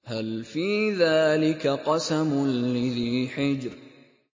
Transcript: هَلْ فِي ذَٰلِكَ قَسَمٌ لِّذِي حِجْرٍ